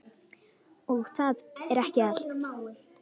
Og það er ekki allt.